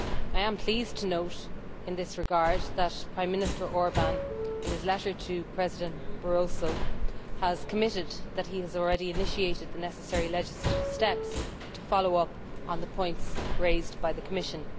I am pleased to note in this regard that Prime Minister Orbán, in his letter to President Barroso, has committed that he has already initiated the necessary legislative steps to follow up on the points raised by the Commission.